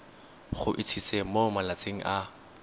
go itsise mo malatsing a